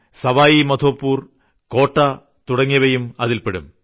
സവായ് മാധോപൂർ കോട്ടാ തുടങ്ങിയവയും അതിൽപ്പെടും